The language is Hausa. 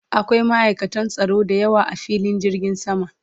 Akwai ma'aikatan tsaro da yawa a filin jirgin sama